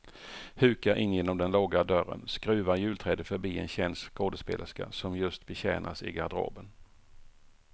Hukar in genom den låga dörren, skruvar julträdet förbi en känd skådespelerska som just betjänas i garderoben.